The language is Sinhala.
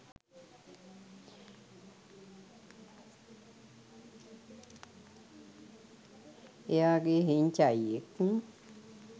එයාගේ හෙංචයියෙක්